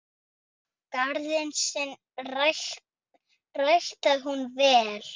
Garðinn sinn ræktaði hún vel.